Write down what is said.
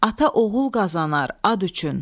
Ata oğul qazanar ad üçün.